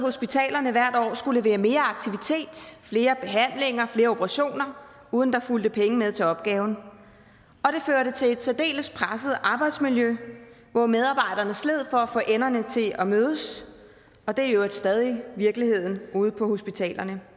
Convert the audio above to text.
hospitalerne hvert år skulle levere mere aktivitet flere behandlinger flere operationer uden at der fulgte penge med til opgaven og det førte til et særdeles presset arbejdsmiljø hvor medarbejderne sled for at få enderne til at mødes og det er i øvrigt stadig virkeligheden ude på hospitalerne